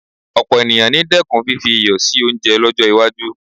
Ọ̀pọ̀ ènìyàn ni dẹ́kun fífi iyọ̀ sí oúnjẹ lọ́jọ́ iwájú